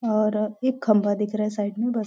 और एक खंबा दिख रहा है साइड में बस --